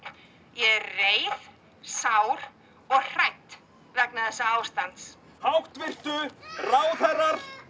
er reið sár og hrædd vegna þessa ástands háttvirtu ráðherrar